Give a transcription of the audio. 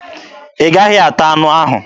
Ị gaghị ata anụ ahụ!